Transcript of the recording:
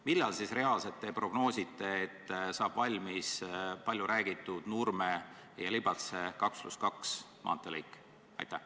Millal te siis prognoosite, et saab reaalselt valmis palju räägitud Nurme–Libatse 2 + 2 maanteelõik?